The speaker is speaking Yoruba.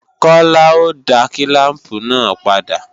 Kọ́lá ó dá kílàmpù náà padà